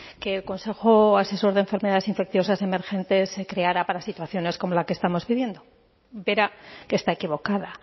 que el consejo asesor de enfermedades infecciosas emergentes se creara para situaciones como la que estamos viviendo verá que está equivocada